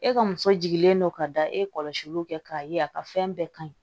E ka muso jigilen don ka da e kɔlɔsiliw kɛ k'a ye a ka fɛn bɛɛ ka ɲi